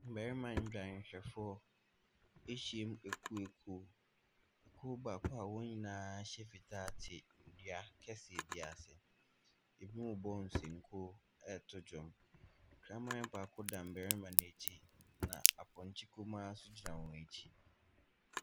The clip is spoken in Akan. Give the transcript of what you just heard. Mmarima ndwanhwɛfoɔ ahyia mu akuaku. Kuo baako a wɔn nyinaa hyɛ fitaa te dua kɛseɛ bi ase, bi rebɔ nsankuo ɛreto dwom. Kraman baako da mmarima no akyi, na apɔnkye kumaa nso gyina wɔn akyi.